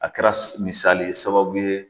A kɛra misali ye sababu ye